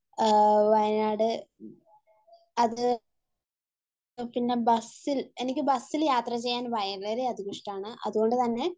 അഹ് വയനാട്, ബസിൽ, അത് എനിക്ക് ബസ്സിൽ യാത്ര ചെയ്യാൻ വളരെ ഇഷ്ടമാണ്. അതുകൊണ്ടുതന്നെ